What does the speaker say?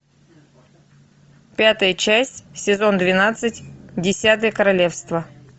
пятая часть сезон двенадцать десятое королевство